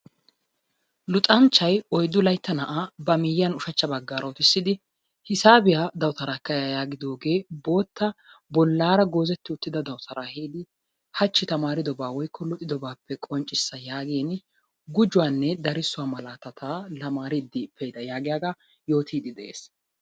luxanchchay oyddu laytta naa'a ba miyyiyan ushshachcha baggaara uttisidi hisaabiyaa dawutaara ekka ya yaagidooge bootta bollara goozetti uttida dawutaa ehiidi hachi tamaaridoba woykko luxidoobappe qonccissa yaagin gujjuwanne darssuwaa malaatata tamaariddi pe'ida yaagiyaaga yoottide de'ees.